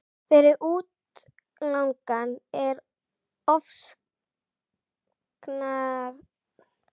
Fyrir útlagann er ofsóknarkenndin forsenda þess að halda lífi.